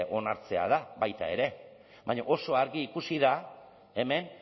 onartzea da baita ere baina oso argi ikusi da hemen